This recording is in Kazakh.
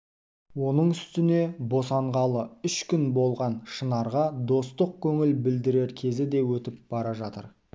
оның үстіне босанғалы үш күн болған шынарға достық көңіл білдірер кезі де өтіп бара жатыр